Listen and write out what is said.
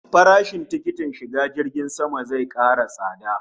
Farashin tikitin shiga jirgin sama zai kara tsada